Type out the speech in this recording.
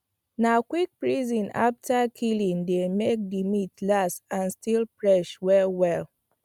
na quick freezing after killing dey make the meat last and still fresh well well